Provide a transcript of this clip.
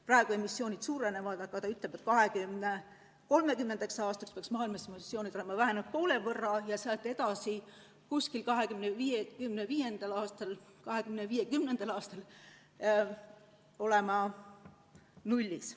Praegu emissioonid suurenevad, aga 2030. aastaks peaks maailmas emissioonid olema vähenenud poole võrra ja sealt edasi umbes 2050. aastal olema nullis.